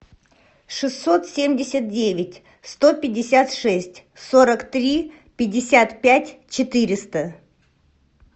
шестьсот семьдесят девять сто пятьдесят шесть сорок три пятьдесят пять четыреста